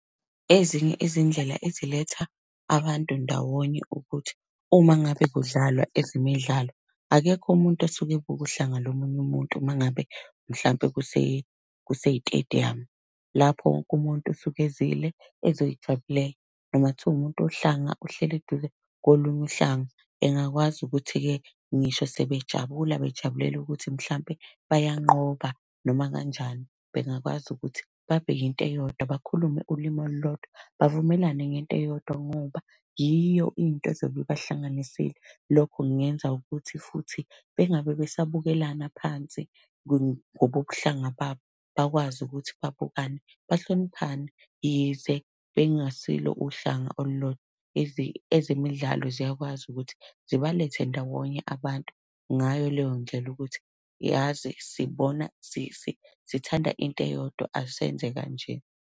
Ezinye izindlela eziletha abantu ndawonye ukuthi uma ngabe kudlalwa ezemidlalo, akekho umuntu osuke ebuka uhlanga lomunye umuntu uma ngabe mhlampe kuse kusey'tediyamu. Lapho wonke umuntu usuke ezile ezoy'jabulela noma kuthiwa umuntu wohlanga uhleli eduze kolunye uhlanga, engakwazi ukuthi-ke ngisho sebejabula, bejabulela ukuthi mhlampe bayanqoba noma kanjani, bengakwazi ukuthi babheke into eyodwa, bakhulume ulimi olulodwa, bavumelane ngento eyodwa ngoba, yiyo into ezobe ibahlanganisile. Lokho kungenza ukuthi futhi bengabe besabukelana phansi ngokobuhlanga babo bakwazi ukuthi babukane, bahloniphane yize bengasilo uhlanga olulodwa . Ezemidlalo ziyakwazi ukuthi zibalethe ndawonye abantu, ngayo leyo ndlela ukuthi yazi sibona sithanda into eyodwa asenze kanje.